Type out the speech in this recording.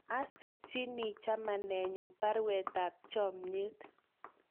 Asirchini chamanenyu parwet ap chamyet